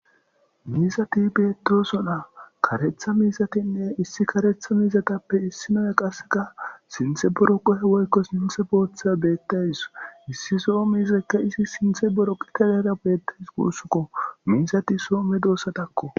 Miisati betooso naa karetha miizatinne issi karetha miizatappe issi noya qasseka sinthe boro qohe woykko sinthe bootha beettays issi soo miizekka izi sinthe boro qita leera beettays guussukko miisati soome doossatakko.